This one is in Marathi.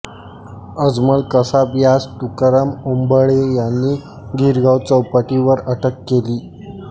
अजमल कसाब यास तुकाराम ओंबळे यांनी गिरगाव चौपाटी वर अटक केली